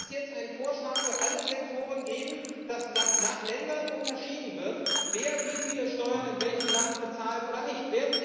Wird es jetzt einen Vorschlag für alle Sektoren geben, dass nach Ländern unterschieden wird, wer wie viele Steuern in welchem Land bezahlt, oder nicht?